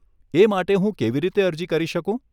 એ માટે હું કેવી રીતે અરજી કરી શકું?